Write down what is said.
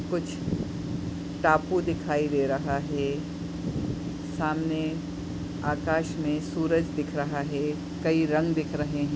कुछ टापू दिखाई दे रहा है सामने आकाश मे सूरज दिख रहा है कई रंग दिख रहे हैं।